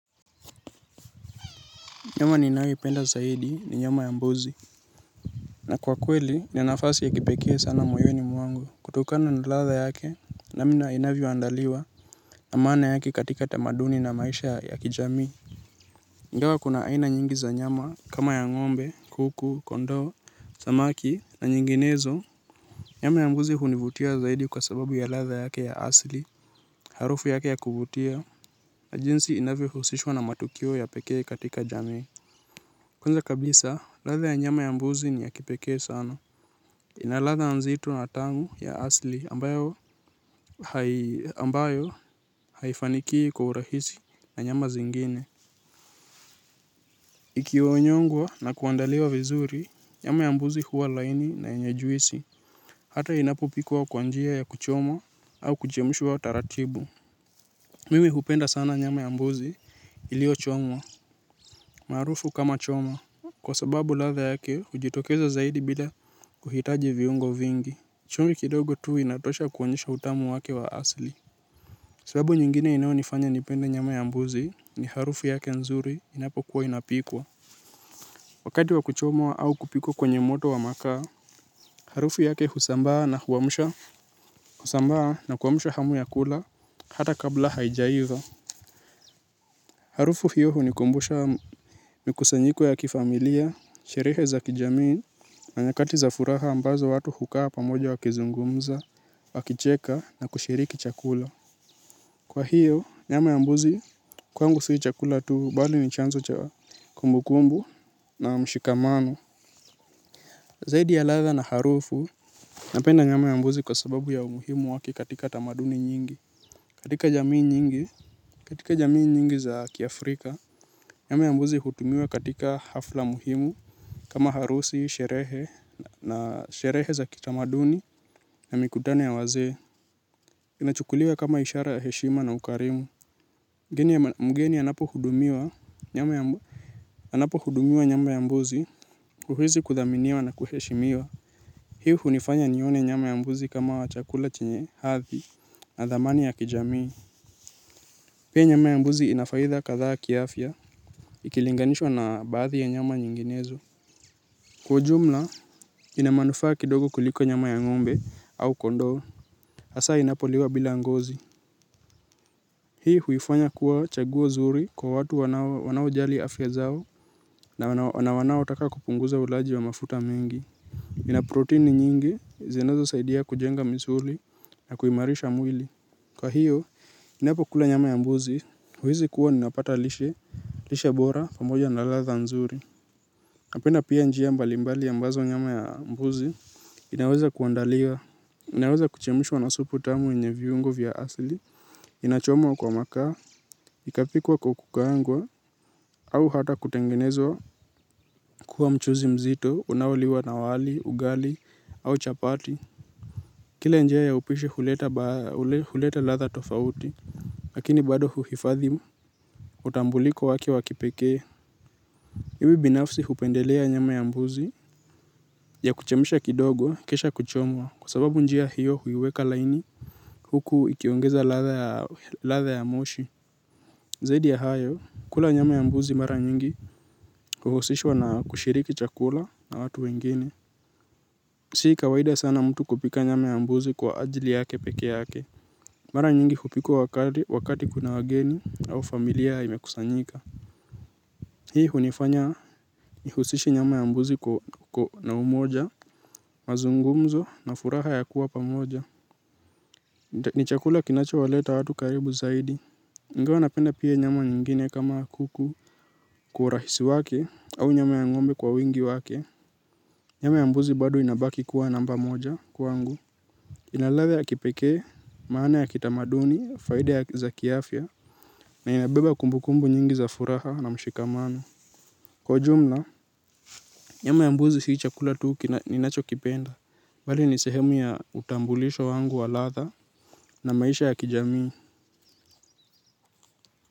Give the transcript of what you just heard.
Nyama ninayoipenda zaidi ni nyama ya mbuzi. Na kwa kweli ni nafasi ya kipekee sana moyoni mwangu. Kutokana na ladha yake namna inavyoandaliwa na maana yake katika tamaduni na maisha ya kijamii ingawa kuna aina nyingi za nyama kama ya ng'ombe, kuku, kondoo, samaki na nyinginezo nyama ya mbuzi hunivutia zaidi kwa sababu ya ladha yake ya asli, harufu yake ya kuvutia. Na jinsi inavyohusishwa na matukio ya pekee katika jamii kwanza kabisa, ladha ya nyama ya mbuzi ni ya kipekee sana. Ina ladha nzito na tamu ya asli ambayo haifanikii kwa urahisi na nyama zingine. Ikioonyongwa na kuandaliwa vizuri, nyama ya mbuzi huwa laini na yenye juisi. Hata inapopikwa kwa njia ya kuchomwa au kuchemshwa taratibu. Mimi hupenda sana nyama ya mbuzi iliochomwa. Marufu kama choma. Kwa sababu ladha yake hujitokeza zaidi bila kuhitaji viungo vingi. Chumvi kidogo tu inatosha kuonyesha utamu wake wa asli. Sababu nyingine inayonifanya nipende nyama ya mbuzi ni harufu yake nzuri inapokuwa inapikwa. Wakati wa kuchomwa au kupikwa kwenye moto wa makaa harufu yake husambaa na kuamsha hamu ya kula hata kabla haijaiva. Harufu hiyo hunikumbusha mikusanyiko ya kifamilia, sherehe za kijamii na nyakati za furaha ambazo watu hukaa pamoja wakizungumza, wakicheka na kushiriki chakula. Kwa hiyo, nyama ya mbuzi, kwangu si chakula tu, bali ni chanzo cha kumbukumbu na mshikamano. Zaidi ya ladha na harufu, napenda nyama ya mbuzi kwa sababu ya umuhimu wake katika tamaduni nyingi katika jamii nyingi za kiafrika nyama ya mbuzi hutumiwa katika hafla muhimu kama harusi sherehe na sherehe za kitamaduni na mikutano ya wazee inachukuliwa kama ishara ya heshima na ukarimu mgeni anapohudumiwa nyama ya nyama ya mbuzi uhizi kudhaminiwa na kuheshimiwa hii hunifanya nione nyama ya mbuzi kama chakula chenye hathi na dhamani ya kijamii. Pia nyama ya mbuzi inafaidha kadhaa kiafya ikilinganishwa na baadhi ya nyama nyinginezo. Kwa ujumla, ina manufaa kidogo kuliko nyama ya ng'ombe au kondoo asaa inapoliwa bila ngozi. Hii huifanya kuwa chaguo zuri kwa watu wanaojali afya zao na wanao taka kupunguza ulaji wa mafuta mengi. Ina proteni nyingi, zinazosaidia kujenga misuli na kuimarisha mwili. Kwa hiyo, ninapokula nyama ya mbuzi, huizi kuwa ninapata lishe bora pamoja na ladha nzuri. Napenda pia njia mbali mbali ambazo nyama ya mbuzi, inaweza kuandaliwa. Inaweza kuchemshwa na supu tamu yenye viungo vya asli, inachomwa kwa makaa, ikapikwa kwa kukaangwa, au hata kutengenezwa kuwa mchuzi mzito, unaoliwa na wali, ugali, au chapati. Kila njia ya upishi huleta ladha tofauti, lakini bado huhifadhi utambuliko wake wa kipekee. Iwi binafsi hupendelea nyama ya mbuzi ya kuchemsha kidogo kisha kuchomwa kwa sababu njia hiyo huiweka laini huku ikiongeza ladha ya moshi. Zaidi ya hayo, kula nyama ya mbuzi mara nyingi huhusishwa na kushiriki chakula na watu wengine. Si kawaida sana mtu kupika nyama ya mbuzi kwa ajili yake pekee yake. Mara nyingi hupikwa wakati kuna wageni au familia imekusanyika. Hii hunifanya nihusishe nyama ya mbuzi na umoja, mazungumzo na furaha ya kuwa pamoja. Ni chakula kinachowaleta watu karibu zaidi. Ingawa napenda pia nyama nyingine kama kuku kwa urahisi wake au nyama ya ng'ombe kwa wingi wake. Nyama ya mbuzi bado inabaki kuwa namba moja kwangu. Ina ladhe la kipekee, maana ya kitamaduni, faida za kiafya. Na inabeba kumbukumbu nyingi za furaha na mshikamano. Kwa ujumla, nyama ya mbuzi si chakula tu ninacho kipenda. Bali ni sehemu ya utambulisho wangu wa ladha na maisha ya kijamii.